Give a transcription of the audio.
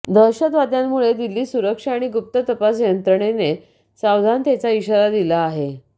दहशतवाद्यांमुळे दिल्लीत सुरक्षा आणि गुप्त तपास यंत्रणेने सावधानतेचा इशारा दिला आहे